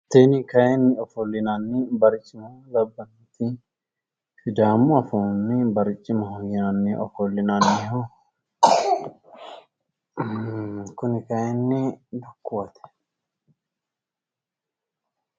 Tini kayinni ofollinanni barcima labbannoti sidaamu afiinni barcimaho yinanni ofollinanniho uhhh kuni kayinni dukkuwate.